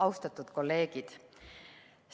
Austatud kolleegid!